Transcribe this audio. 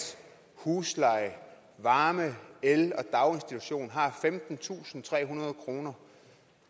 husleje varme el og daginstitutioner har femtentusinde og trehundrede kroner